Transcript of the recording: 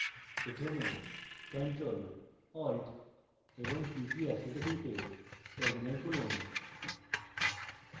প্রথমে ctrl + alt + t কী একসাথে টিপে terminal খুলুন